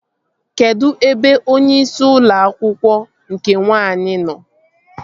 Kedụ ebe onyeisi ụlọ akwụkwọ nke nwaanyị nọ?